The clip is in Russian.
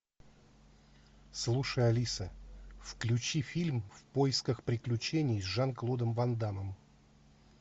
слушай алиса включи фильм в поисках приключений с жан клодом ван даммом